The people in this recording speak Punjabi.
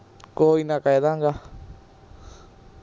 ਕੋਈ ਨਾ ਕਹਿਦਾਂਗਾ